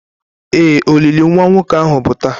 Ee, olili nwa nwoke ahu bụ taa.